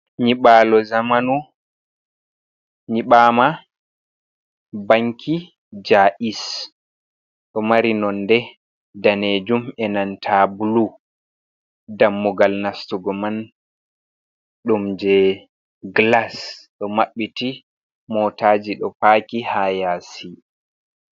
"Nyibalo "zamanu nyiɓama banki jais ɗo mari nonde danejum enanta bulu dammugal nastugo man ɗum je glas do maɓɓiti mootaji do faki ha yasi.